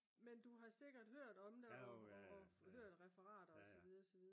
men du har sikkert hørt om det og hørt referater og så videre